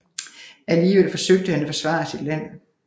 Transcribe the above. Alligevel forsøgte han at forsvare sit land